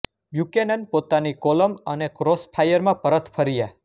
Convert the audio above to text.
Buchanan પોતાની column અને Crossfire માં પરત ફર્યાં